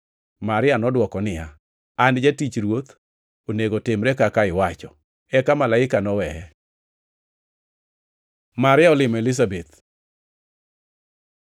Maria nodwoko niya, “An jatich Ruoth, onego timre kaka iwacho.” Eka malaika noweye. Maria olimo Elizabeth